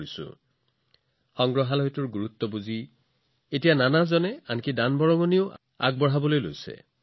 এতিয়া সংগ্ৰহালয়ৰ গুৰুত্বৰ বাবে বহুতো লোকে নিজে আগবাঢ়ি আহিছে আৰু সংগ্ৰহালয়বোৰৰ বাবে যথেষ্ট দান কৰিছে